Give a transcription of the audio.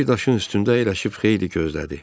Bir daşın üstündə əyləşib xeyli gözlədi.